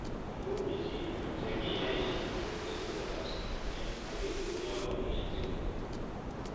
Amu pichinwek che kiyai kechuchuch kasarta ab somanet ak ketuyo ak kanetik